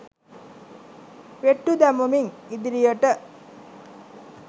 වෙට්ටු දමමින් ඉදිරියට